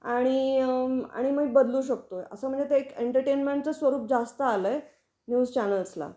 आणि आणि मग एक बदलू शकतो. असं म्हणजे ते एक एंटरटेनमेंटचाच स्वरूप जास्त आल आहे न्यूज चॅनेल्स ला